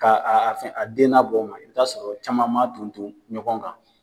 Ka a a a fɛn denna bɔ o ma i bɛ taa sɔrɔ caman man ton ton ɲɔgɔn kan.